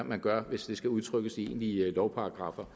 man gør hvis det skal udtrykkes i egentlige lovparagraffer